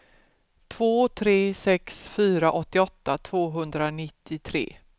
två tre sex fyra åttioåtta tvåhundranittiotre